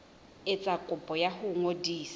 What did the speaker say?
etsa kopo ya ho ngodisa